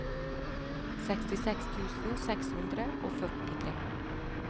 sekstiseks tusen seks hundre og førtitre